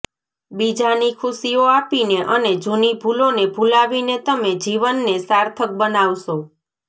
બીજા ની ખુશીઓ આપીને અને જૂની ભૂલો ને ભુલાવીને તમે જીવન ને સાર્થક બનાવશો